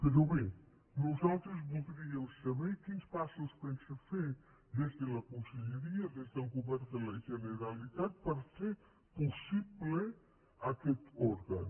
però bé nosaltres voldríem saber quins passos pensa fer des de la conselleria des del govern de la generalitat per fer possible aquest òrgan